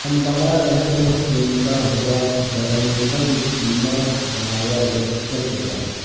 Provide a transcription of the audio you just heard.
ہم بنا رہے ہیں سینکا ہوا بینگن کیما بنایا ہوا چکن کے ساتھ